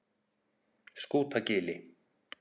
Skútagili